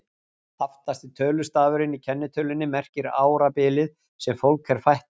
Aftasti tölustafurinn í kennitölunni merkir árabilið sem fólk er fætt á.